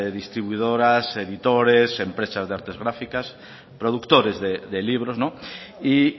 distribuidoras editores empresas de artes gráficas productores de libros y